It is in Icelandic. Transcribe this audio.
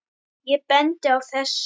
Ég bendi á þessi